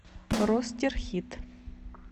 ростерхит